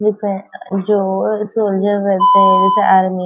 दिख रहे है जो सोल्जरस रहते है जैसे आर्मी --